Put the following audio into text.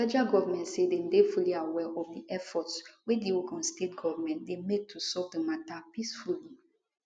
federal goment say dem dey fully aware of efforts wey di ogun state goment dey make to solve di mata peacefully